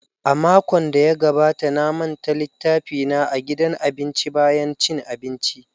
A makon da ya gabata na manta littafina a gidan abinci bayan cin abinci.